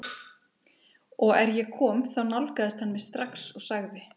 Og er ég kom þá nálgaðist hann mig strax og sagði